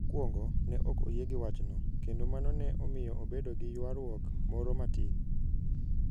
Mokwongo, ne ok oyie gi wachno, kendo mano ne omiyo obedo gi ywaruok moro matin.